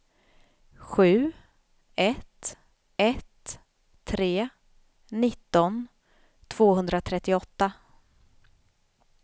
sju ett ett tre nitton tvåhundratrettioåtta